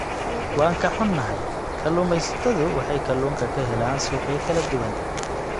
Waan ka xunnahay, kalluumaysatadu waxay kalluunka ka helaan suuqyo kala duwan.